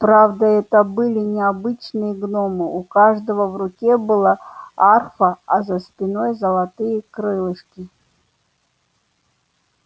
правда это были не обычные гномы у каждого в руке была арфа а за спиной золотые крылышки